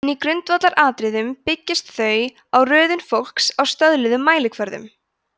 en í grundvallaratriðum byggjast þau á röðun fólks á stöðluðum mælikvörðum